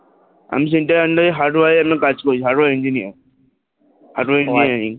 আমি Center এর under এ hardware কাজ করি Hardware engineer hardware engineering